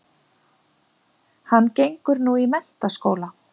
Hann gengur nú í menntaskóla